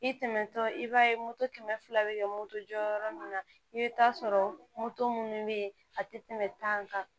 I tɛmɛtɔ i b'a ye moto kɛmɛ fila bɛ kɛ moto jɔ yɔrɔ min na i bɛ taa sɔrɔ moto minnu bɛ yen a tɛ tɛmɛ tan kan